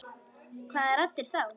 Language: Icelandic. Hvaða raddir þá?